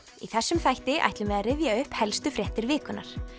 í þessum þætti ætlum við að rifja upp helstu fréttir vikunnar